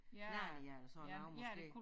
Narnia eller sådan noget måske